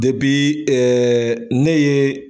ne ye.